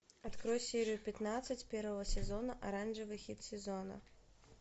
открой серию пятнадцать первого сезона оранжевый хит сезона